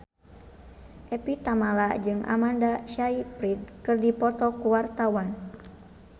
Evie Tamala jeung Amanda Sayfried keur dipoto ku wartawan